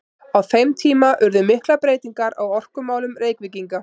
Á þeim tíma urðu miklar breytingar á orkumálum Reykvíkinga.